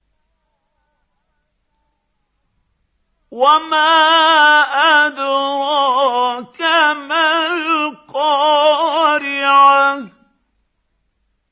وَمَا أَدْرَاكَ مَا الْقَارِعَةُ